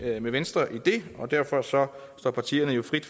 med venstre i det og derfor står partierne jo frit